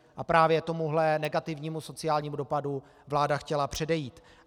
A právě tomuhle negativnímu sociálnímu dopadu vláda chtěla předejít.